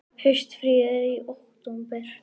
Haustfríið er í október.